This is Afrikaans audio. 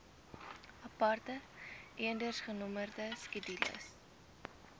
aparte eendersgenommerde skedules